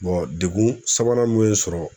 degun sabanan mun ye sɔrɔ